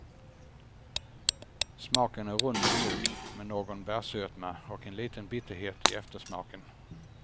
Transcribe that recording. Smaken är rund och mjuk med någon bärsötma och en liten bitterhet i eftersmaken.